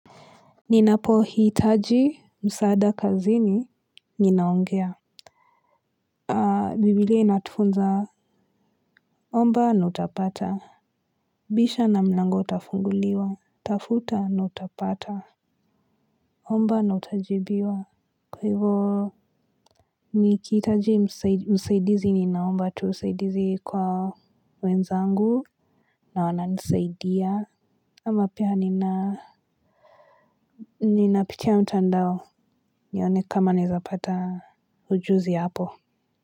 Ninapohitaji msaada kazini ninaongea Bibilia inatufunza omba na utapata bisha na mlango utafunguliwa, tafuta na utapata, omba na utajibiwa. Kwa hivyo nikihitaji msaidizi ninaomba tu usaidizi kwa wenzangu. Na wananisaidia. Ama pia ninapitia mtandao nione kama nawezapata ujuzi hapo.